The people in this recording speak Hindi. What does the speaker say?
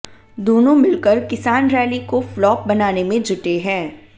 दोनों मिलकर किसान रैली को फ्लॉप बनाने में जुटे हैं